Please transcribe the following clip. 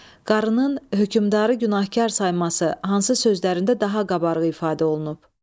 Qarının hökmdarı günahkar sayması hansı sözlərində daha qabarıq ifadə olunub?